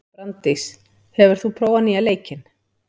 Branddís, hefur þú prófað nýja leikinn?